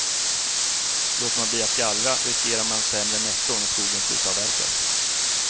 Låter man bli att gallra riskerar man sämre netto när skogen slutavverkas.